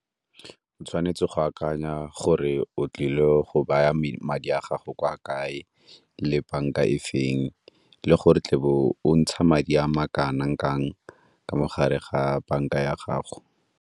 O tshwanetse go akanya gore o tlile go baya madi a gago kwa kae, le banka e feng, le gore o tle o ntsha madi a makanang kang ka mo gare ga banka ya gago.